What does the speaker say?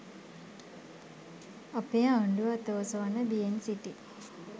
අපේ ආණ්ඩුව අත ඔසවන්න බියෙන් සිටී